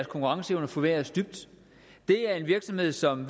konkurrencevne forværres dybt det er en virksomhed som